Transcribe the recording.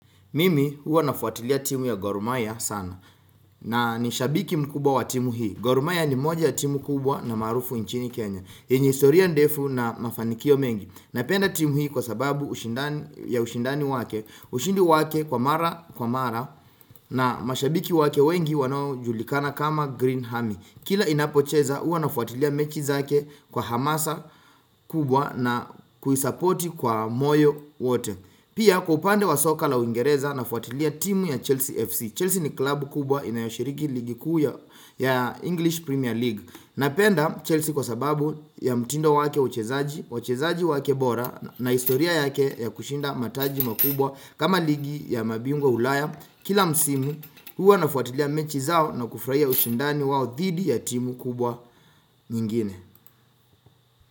Mimi huwa nafuatilia timu ya Gorumaya sana na ni shabiki mkubwa wa timu hii. Gorumaya ni moja ya timu kubwa na maarufu nchini Kenya. Yenye historia ndefu na mafanikio mengi. Napenda timu hii kwa sababu ushindani ya ushindani wake, ushindi wake kwa mara kwa mara na mashabiki wake wengi wanaojulikana kama Green Hami. Kila inapocheza huwa nafuatilia mechi zake kwa hamasa kubwa na kuisapoti kwa moyo wote. Pia kwa upande wa soka la Uingereza na fuatilia timu ya Chelsea FC. Chelsea ni club kubwa inayoshiriki ligii kuu ya English Premier League. Napenda Chelsea kwa sababu ya mtindo wake uchezaji, uchezaji wake bora na historia yake ya kushinda mataji makubwa kama ligi ya mabingwa ulaya. Kila msimu huwa na fuatilia mechi zao na kufurahia ushindani wao dhidi ya timu kubwa nyingine.